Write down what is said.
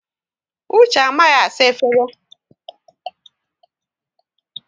Uche amaghị asa efere?